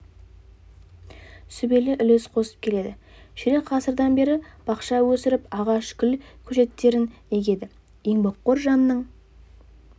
сүбелі үлес қосып келеді ширек ғасырдан бері бақша өсіріп ағаш гүл көшеттерін егеді еңбекқор жанның